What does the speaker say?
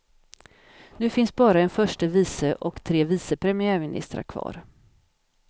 Nu finns bara en förste vice och tre vice premiärministrar kvar.